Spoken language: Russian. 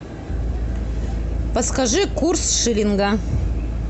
подскажи курс шиллинга